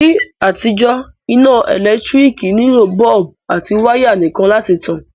Ní àtijó, iná ẹ́lẹ̀ntirikì nilò bulb àti wire nìkan láti tan